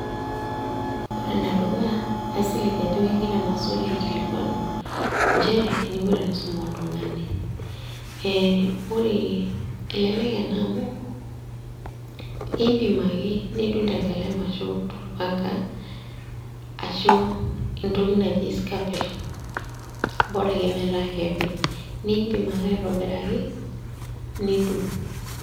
Ore enedukuya, kaisilig ajo kegira ena swali aikilikwanu, njere eninko tenisum oltung'ani. Ore, elelek ena amu, impim ake nidung' tenkalem ashu torpanka, ashu entoki naji scalpel, bora ake metaa kepi. Nimpim ake aitobiraki, nidung'.